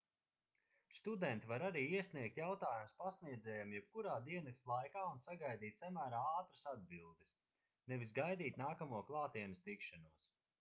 studenti var arī iesniegt jautājumus pasniedzējiem jebkurā diennakts laikā un sagaidīt samērā ātras atbildes nevis gaidīt nākamo klātienes tikšanos